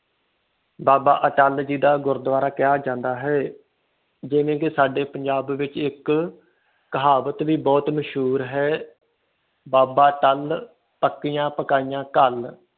ਬਾਬਾ ਅਟੱਲ ਜੀ ਦਾ ਗੁਰੂਦਵਾਰਾ ਕਿਹਾ ਜਾਂਦਾ ਹੈ ਜਿਵੇ ਕਿ ਸਾਡੇ ਪੰਜਾਬ ਦੇ ਵਿਚ ਇੱਕ ਕਹਾਵਤ ਵੀ ਬਹੁਤ ਮਸ਼ਹੂਰ ਹੈ ਬਾਬਾ ਅੱਟਲ ਪੱਕੀਆਂ ਪਕਾਈਆਂ ਘਲ